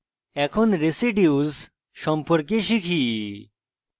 এখন residues সম্পর্কে শিখি